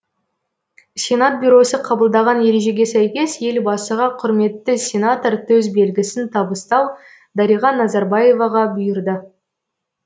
сенат бюросы қабылдаған ережеге сәйкес елбасыға құрметті сенатор төсбелгісін табыстау дариға назарбаеваға бұйырды